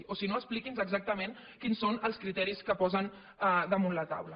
o si no expliqui’ns exactament quins són els criteris que posen damunt la taula